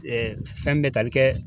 fɛn bɛ tali kɛ.